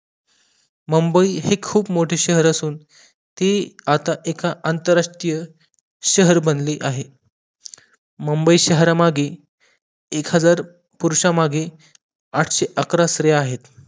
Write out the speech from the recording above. मुंबई हे खूप मोठे शहर असून ती आता एका अनंतरराष्ट्रीय शहर बनले आहे. मुंबई शहर मागे एकहजार पुरुषामागे आठशे अकरा स्त्रिया आहेत